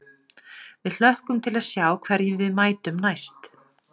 Við hlökkum til að sjá hverjum við mætum næst.